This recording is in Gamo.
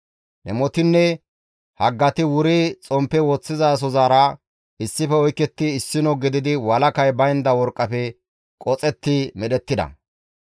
Dhemotinne haggati wuri xomppe woththizasozara issife oyketti issino gididi walakay baynda worqqafe qoxetti medhettida.